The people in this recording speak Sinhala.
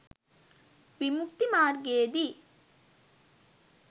විමුක්ති මාර්ගයේ දී